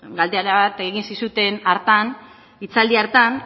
galdera bat egin zizuten hartan hitzaldi hartan